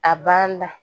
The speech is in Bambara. A banna